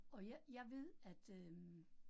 Og jeg jeg ved at øh